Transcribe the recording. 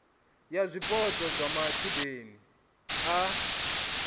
ya zwipotso zwa matshudeni a